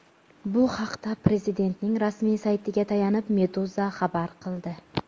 Bu haqda Prezidentning rasmiy saytiga tayanib Meduza xabar qildi .